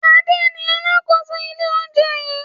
Ade ni alákòóso ilé-oúnjẹ yìí.